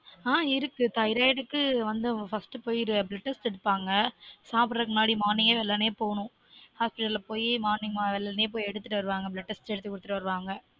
on இருக்கு thyroid க்கு வந்து first போய் blood test எடுப்பாங்க சாப்பிட்ரதுக்கு முன்னாடி morning வெள்ளனே போனும் hospital ல போய் morning வெள்ளனே போய் எடுத்துட்டு வருவாங்க blood test எடுத்து குடுத்துட்டு வருவாங்க